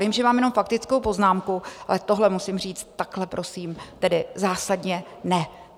Vím, že mám jenom faktickou poznámku, ale tohle musím říct: takhle prosím tedy zásadně ne!